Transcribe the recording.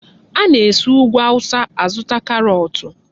Ana-esi Úgwù Awụsa azụta karọọtụ.